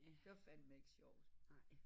Det var fandme ikke sjovt